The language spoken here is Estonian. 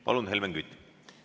Palun, Helmen Kütt!